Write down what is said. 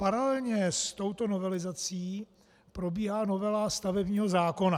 Paralelně s touto novelizací probíhá novela stavebního zákona.